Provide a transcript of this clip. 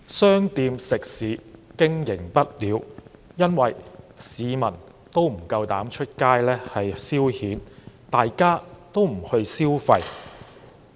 商店食肆經營不了，因為市民不敢外出消遣，大家也不消費。